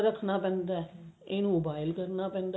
ਰੱਖਣਾ ਪੈਂਦਾ ਇਹਨੂੰ boil ਕਰਨਾ ਪੈਂਦਾ